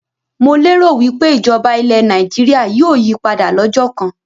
Mo lé ro wípé ìjọba ilẹ̀ Nàìjíríà yìí ó yí padà lọ́jọ́ kán